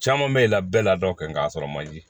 Caman bɛ la bɛɛ la dɔ kɛ n'a sɔrɔ manje